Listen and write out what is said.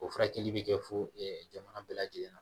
O furakɛli bɛ kɛ fo ɛ jamana bɛɛ lajɛlen na